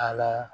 A la